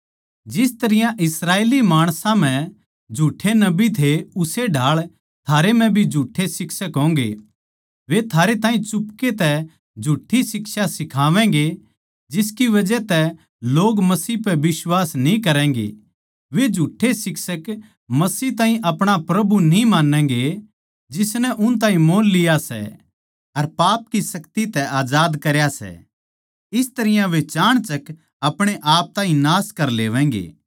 जिस तरियां इस्राएली माणसां म्ह झूठ्ठे नबी थे उस्से ढाळ थारे म्ह भी झूठ्ठे शिक्षक होंगे वे थारे ताहीं चुपके तै झूठ्ठी शिक्षा सिखावैंगे जिसकी बजह तै लोग मसीह पै बिश्वास न्ही करैगें वे झूठ्ठे शिक्षक मसीह ताहीं अपणा प्रभु न्ही मान्नैगें जिसनै उन ताहीं मोल लिया सै अर पाप की शक्ति तै आजाद करया सै इस तरियां वे चाणचक अपणे आप ताहीं नाश कर लेवैगें